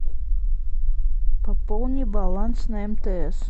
пополни баланс на мтс